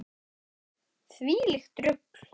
Þvílíkt rugl.